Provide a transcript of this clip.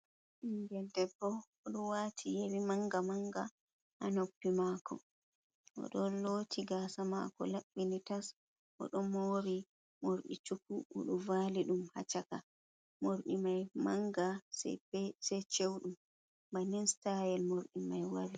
Ɓingel debbo, oɗo waati yeri manga-manga ha noppi maako, o ɗon looti gaasa maako laɓɓini tas, o ɗo moori morɗi chuku, oɗo vaali ɗum ha chaka morɗi mai manga, se chewɗum, bannin staayel morɗi mai wari.